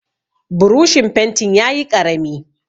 Burushin fentin yayi ƙarami.